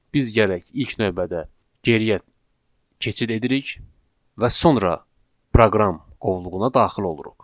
Biz gərək ilk növbədə geriyə keçid edirik və sonra proqram qovluğuna daxil oluruq.